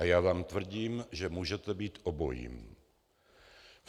A já vám tvrdím, že můžete být obojí.